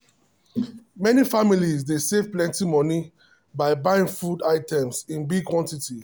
many families dey save plenty money by buying food items in big quantity.